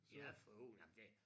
Ja for hulen nej men det